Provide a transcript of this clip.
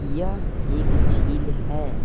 यह एक झील है।